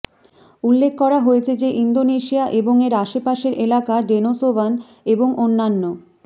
উল্লেখ করা হয়েছে যে ইন্ডোনেশিয়া এবং এর আশেপাশের এলাকা ডেনোসোবান এবং অন্যান্য